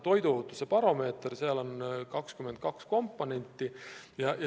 Toiduohutuse baromeeter – seal on 22 komponenti.